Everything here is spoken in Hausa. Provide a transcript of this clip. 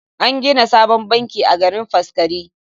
An gina sabon banki a garin Faskari.